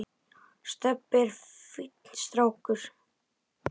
Stebbi er fínn strákur